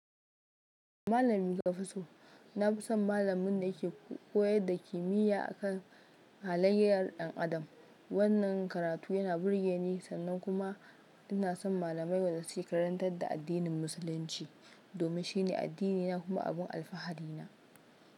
Malami Kafiso na fi son malamin da ya ke koyar da kimiyya akan halayyar ɗan adam. Wannan karatu yana burge ni, sannan kuma ina son malamai wanda suke karantar da addinin Musulunci domin shine addinina kuma abin alfahari na.